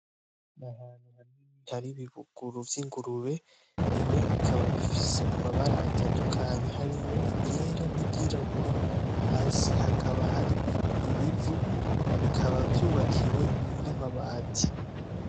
Hari ibibuguru vy'ingurube . Bimwe bikaba bifise amabara atandukanye harimwo iryera n'iryirabura, hasi hakaba hari ibivu. Bikaba vyubakiwe n'amabati.